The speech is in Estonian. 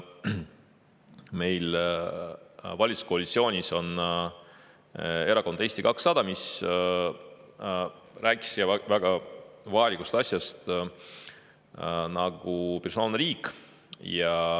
Valitsuskoalitsioonis on Erakond Eesti 200, kes rääkis väga vajalikust asjast nagu personaalne riik.